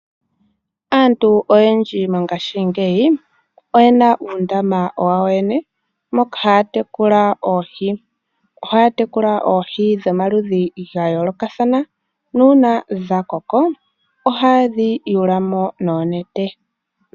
Aantu oyendji mongashingeyi oyen uundama wawo yene moka haatekula oohi dhomaludhi ga yoolokathana nuuna dha koko ohaye dhi yula mo noonete.